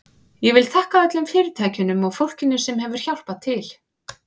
Ég vil þakka öllum fyrirtækjunum og fólkinu sem hefur hjálpað til.